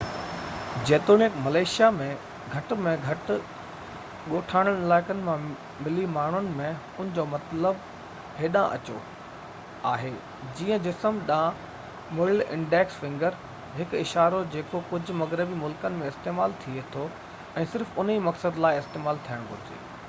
جيتوڻيڪ ملائيشيا ۾ گهٽ ۾ گهٽ ڳوٺاڻن علائقن مان ملي ماڻهن ۾ ان جو مطلب هيڏانهن اچو آهي جيئن جسم ڏانهن مڙيل انڊيڪس فنگر هڪ اشارو جيڪو ڪجهه مغربي ملڪن ۾ استعمال ٿئي ٿو ۽ صرف انهي مقصد لاءِ استعمال ٿيڻ گهرجي